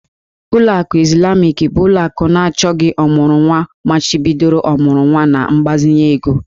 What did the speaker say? Ụlọ akụ Izlamik bụ ụlọ akụ na achọgị ọmụrụnwa machibidoro ọmụrụnwa na mgbazinye ego